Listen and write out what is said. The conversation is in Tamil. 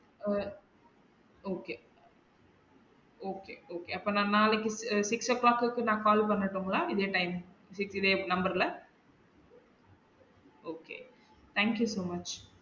அஹ் okay okay okay அப்ப நம்ம நாளைக்கு six'o clock க்கு நா கால் பன்னனுட்டுங்களா இதே time இதே number ல okay thank you so much